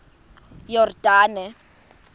yordane